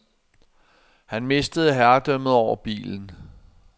Han mistede herredømmet over bilen.